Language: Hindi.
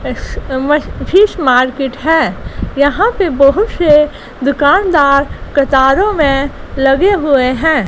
एस_एम_एस फिश मार्केट हैं यहाँ पे बहुत से दुकानदार कतारों में लगे हुए हैं।